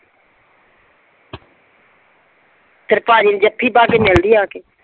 ਤੇਰੇ ਭਾਜੀ ਨੂੰ ਜੱਫੀ ਪਾ ਕੇ ਮਿਲਦੀ ਆ ਆ ਕੇ।